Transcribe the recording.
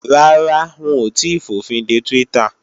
Rárá, wọn ò tíì fòfinde Twitter